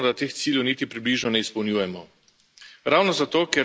Meni se zdi neodgovorno, da teh ciljev niti približno ne izpolnjujemo.